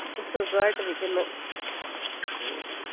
സുഗായിട്ടിരിക്കുന്നു